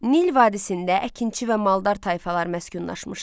Nil vadisində əkinçi və maldər tayfalar məskunlaşmışdı.